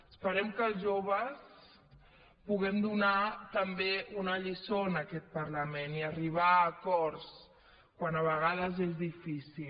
esperem que els joves puguem donar també una lliçó en aquest parlament i arribar a acords quan a vegades és difícil